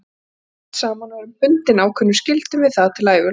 Við eigum barn saman og erum bundin ákveðnum skyldum við það til æviloka.